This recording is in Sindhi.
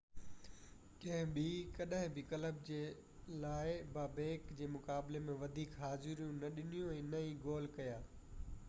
ڪنهن ٻي ڪڏهن بہ ڪلب جي لاءِ بابيڪ جي مقابلي ۾ وڌيڪ حاضريون نہ ڏنيون ۽ نه ئي گول ڪيا